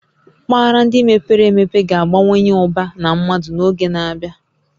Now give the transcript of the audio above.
Mpaghara ndị mepere emepe ga-abawanye ụba na mmadụ n'oge na-abịa